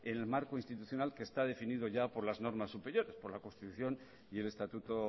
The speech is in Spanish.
en el marco institucional que está definido ya por las normas superiores por la constitución y el estatuto